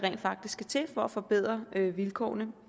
skal til for at forbedre vilkårene